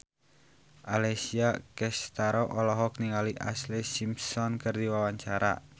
Alessia Cestaro olohok ningali Ashlee Simpson keur diwawancara